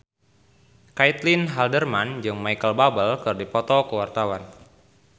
Caitlin Halderman jeung Micheal Bubble keur dipoto ku wartawan